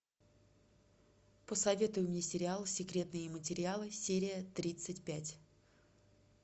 посоветуй мне сериал секретные материалы серия тридцать пять